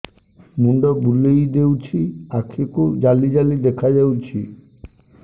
ମୁଣ୍ଡ ବୁଲେଇ ଦେଉଛି ଆଖି କୁ ଜାଲି ଜାଲି ଦେଖା ଯାଉଛି